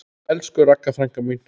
Elsku Ragga frænka mín.